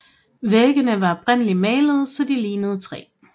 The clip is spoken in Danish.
Væggene var oprindeligt malede så de lignede træ